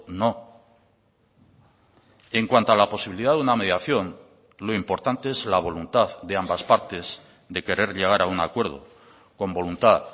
no en cuanto a la posibilidad de una mediación lo importante es la voluntad de ambas partes de querer llegar a un acuerdo con voluntad